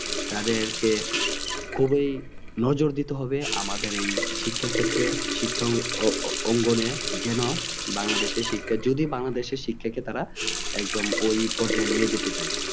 তাদেরকে খুবি নজর দিতে হবে আমাদের এই শিক্ষাক্ষেত্রে শিক্ষাঅঙ্গনে যেন বাংলাদেশের শিক্ষা যদি বাংলাদেশের শিক্ষাকে তারা একদম ওই পর্যায় নিয়ে যেতে চাই